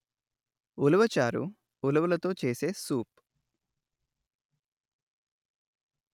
ఉలవ చారు ఉలవలతో చేసే సూప్